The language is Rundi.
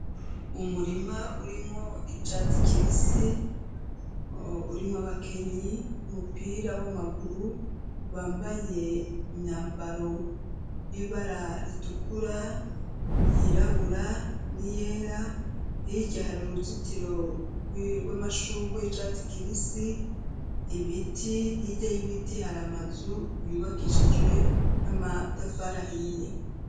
umurima irimwo abakenyi umupira w'amaguru bambaye imyambaro y'ibara ritukura yirabura n'iyera hirya hari uruzitiro rw'amashuga icatsi kibisi ibiti hirya y'ibiti hari amazu yubakishijwe n'amatafari ahiye